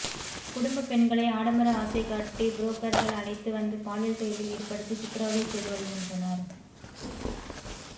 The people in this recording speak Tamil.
குடும்ப பெண்களை ஆடம்பர ஆசை காட்டி புரோக்கர்கள் அழைத்து வந்து பாலியல் தொழிலில் ஈடுபடுத்தி சித்ரவதை செய்து வருகின்றனர்